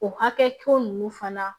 O hakɛ ko ninnu fana